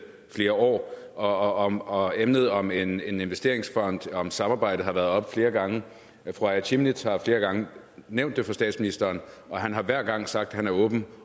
flere år og og emnet om en investeringsfond om samarbejdet har været oppe flere gange fru aaja chemnitz larsen har flere gange nævnt det for statsministeren og han har hver gang sagt at han er åben